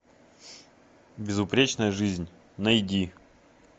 безупречная жизнь найди